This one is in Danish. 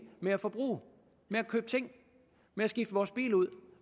med at forbruge med at købe ting med at skifte vores bil ud